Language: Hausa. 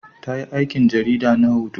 Ta yi aikin jarida na hoto